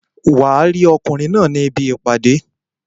Wàá rí ọkùnrin náà ní ibi ìpàdé